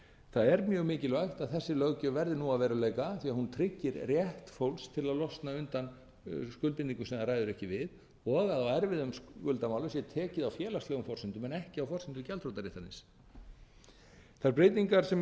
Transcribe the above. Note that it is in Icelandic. það er mjög mikilvægt að þessi löggjöf verði nú að veruleika því að hún tryggir rétt fólks til að losna undan skuldbindingum sem það ræður ekki við og að á erfiðum skuldamálum sé tekið á félagslegum forsendum en ekki á forsendum gjaldþrotaréttarins þær breytingar sem